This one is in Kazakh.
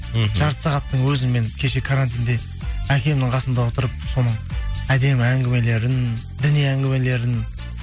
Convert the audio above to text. мхм жарты сағаттың өзі мен кеше карантинде әкемнің қасында отырып соның әдемі әңгімелерін діни әңгімелерін